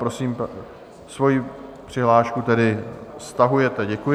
Prosím... svoji přihlášku tedy stahujete, děkuji.